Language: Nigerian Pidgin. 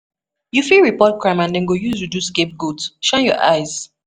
You fit report crime and dem go use you do scape goat, shine your eyes.